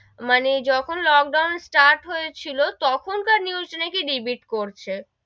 মানে যখন lockdown start হয়েছিল তখন কার news নাকি repeat করেছে,